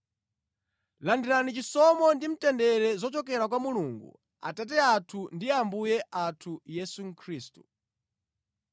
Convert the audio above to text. Landirani chisomo ndi mtendere zochokera kwa Mulungu Atate athu ndi Ambuye athu Yesu Khristu.